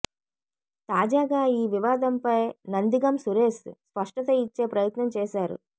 తాజాగా ఈ వివాదంపై నందిగం సురేష్ స్పష్టత ఇచ్చే ప్రయత్నం చేశారు